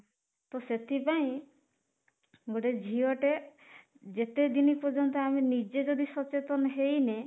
ତ ସେଥିପାଇଁ ଗୋଟେ ଝିଅ ଟେ ଯେତେ ଦିନ ପର୍ଯ୍ୟନ୍ତ ଆମେ ନିଜେ ଯଦି ସଚେତନ ହେଇନେ